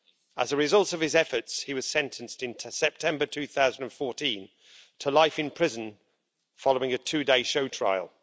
As a result of his efforts, he was sentenced in September 2014 to life in prison following a two day show trial.